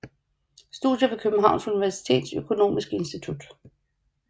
Studier fra Københavns Universitets Økonomiske Institut